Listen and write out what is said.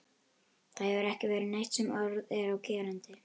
Það hefur ekki verið neitt sem orð er á gerandi.